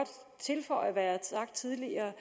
tilføje hvad jeg sagt tidligere